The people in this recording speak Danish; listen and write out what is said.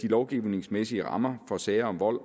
lovgivningsmæssige rammer for sager om vold